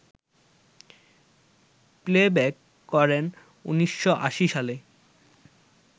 playback করেন ১৯৮০ সালে